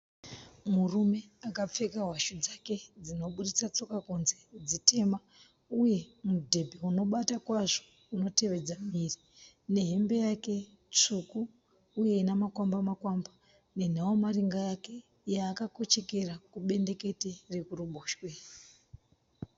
Murume akapfeka hwashu dzake dzinoburitsa tsoka kunze dzitema uye mudhebhe unobata kwazvo unotevedza muviri nehembe yake tsvuku uye ine makwamba makwamba nenhavamaringa yake yaakakochekera kubendekete rekuruboshwe.